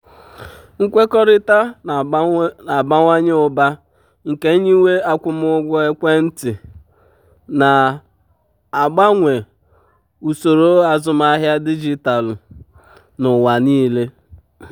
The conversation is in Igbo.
nkwekọrịta na-abawanye ụba nke nyiwe um akwụmụgwọ ekwentị um na-agbanwe usoro azụmahịa dijitalụ um n'ụwa niile.